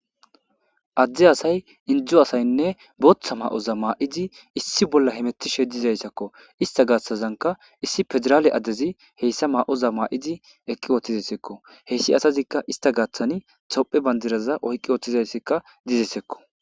Adde asay inddo asaynne booththa ma7oza ma7idi issi bolla hemetishe dizayssakko.istta gaathazankka issi fedidale adezi hessa ma7oza ma7idi ekki wothideskko.hessi asazikka istta gaatazan tophe bandiraza oyqi utidaysikka dizesikko.